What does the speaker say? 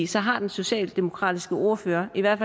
så har den socialdemokratiske ordfører i hvert